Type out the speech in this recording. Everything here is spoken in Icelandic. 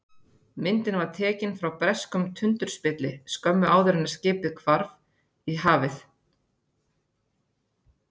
Myndin var tekin frá breskum tundurspilli skömmu áður en skipið hvarf í hafið.